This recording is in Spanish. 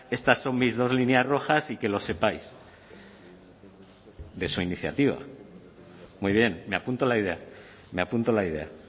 estas son mis dos líneas rojas y que lo sepáis de su iniciativa muy bien me apunto la idea me apunto la idea